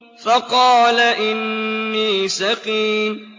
فَقَالَ إِنِّي سَقِيمٌ